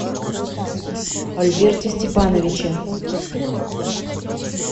альберте степановиче